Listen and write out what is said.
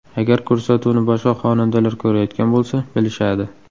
Agar ko‘rsatuvni boshqa xonandalar ko‘rayotgan bo‘lsa, bilishadi.